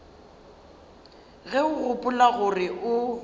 ge o gopola gore o